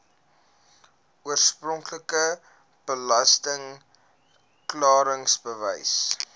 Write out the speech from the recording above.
oorspronklike belasting klaringsbewys